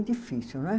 É difícil, não é?